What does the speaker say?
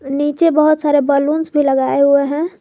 और नीचे सारे बलूंस भी लगाए हुए हैं।